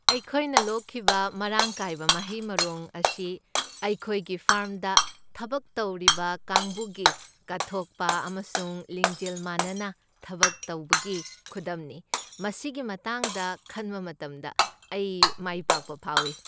ꯑꯩꯈꯣꯏꯅ ꯂꯣꯛꯈꯤꯕ ꯃꯔꯥꯡ ꯀꯥꯏꯕ ꯃꯍꯩ ꯃꯔꯣꯡ ꯑꯁꯤ ꯑꯩꯈꯣꯏꯒꯤ ꯐꯥꯔꯝꯗ ꯊꯕꯛ ꯇꯧꯕ ꯀꯥꯡꯕꯨꯒꯤ ꯀꯠꯊꯣꯛꯄ ꯑꯃꯁꯨꯡ ꯂꯤꯡꯖꯦꯜ ꯃꯥꯟꯅꯅ ꯊꯕꯛ ꯇꯧꯕꯒꯤ ꯈꯨꯗꯝꯅꯤ꯫ ꯃꯁꯤꯒꯤ ꯃꯇꯥꯡꯗ ꯈꯟꯕ ꯃꯇꯝꯗ ꯑꯩ ꯃꯥꯏꯄꯥꯛꯄ ꯐꯥꯎꯏ꯫